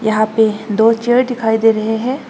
यहां पे दो चेयर डिखाई दे रहे हैं।